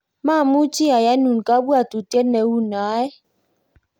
mamuchi ayanun kabwotutie neu noe